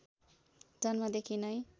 जन्मदेखि नै